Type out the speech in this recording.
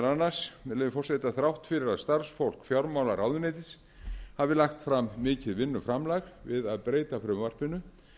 annars með leyfi forseta þrátt fyrir að starfsfólk fjármálaráðuneytis hafi lagt fram mikið vinnuframlag við að breyta frumvarpinu